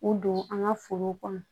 O don an ka forow kɔnɔ